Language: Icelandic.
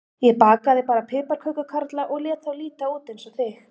Ég bakaði bara piparkökukarla og lét þá líta út eins og þig.